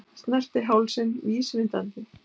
Snerti hálsinn vísvitandi.